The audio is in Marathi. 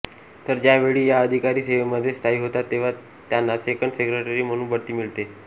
तर ज्या वेळी या अधिकारी सेवेमध्ये स्थायी होतात तेव्हा त्यांना सेकंड सेक्रेटरी म्हणून बढती मिळते